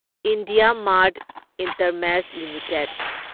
IndiaMART InterMesh limited